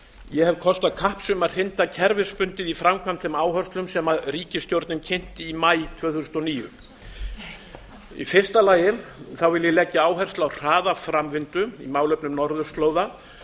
ég hef kostað kapps um að hrinda kerfisbundið í framkvæmd þeim áherslum sem ríkisstjórnin kynnti í maí tvö þúsund og níu í fyrsta lagi legg ég áherslu á hraða framvindu í málefnum norðurslóða